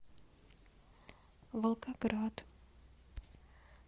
волгоград